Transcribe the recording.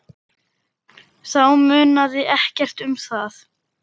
Þá munaði ekkert um það.